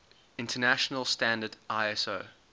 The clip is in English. international standard iso